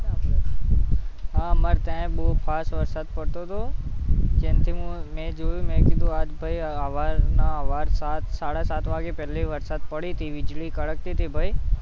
હમ અમારે ત્યાં ય બોવ ફાસ વરસાદ પડતો તો જેમકે મેં જોયું મેં કીધું આ ભાઈ સવારના, સવાર સાત-સાડા સાત વાગ્યે પેલી વરસાદ પડી તી વીજળી કડકતી તી ભૈ